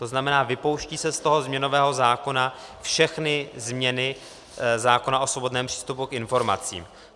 To znamená, vypouští se z toho změnového zákona všechny změny zákona o svobodném přístupu k informacím.